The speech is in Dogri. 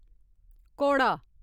घोड़ा